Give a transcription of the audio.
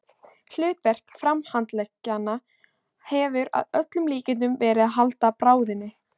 Hlutverk framhandleggjanna hefur að öllum líkindum verið að halda bráðinni.